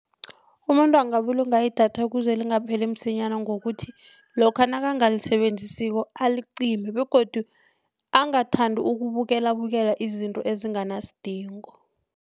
Umuntu angabulunga idatha kuze lingapheli msinyana ngokuthi lokha nakangalisebenzisiko alicime begodu angathandi ukubukelabukela izinto ezinganasidingo.